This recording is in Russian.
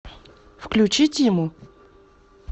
включи тиму